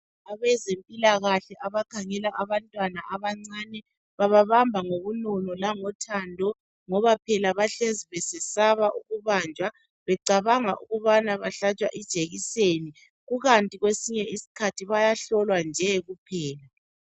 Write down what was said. Abezempilakahle abakhangela abahamba abancane bababamba ngobunono langothando ngoba phela bahlezi besesaba ukubanjwa becabanga ukubana bahlatshwa ijekiseni kukanti kwesinye isikhathi bayahlolwa nje kuphela.